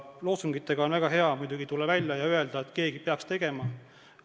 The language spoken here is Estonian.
Loosungitega on muidugi väga hea välja tulla ja öelda, et keegi peaks tegema.